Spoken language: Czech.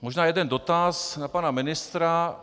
Možná jeden dotaz na pana ministra.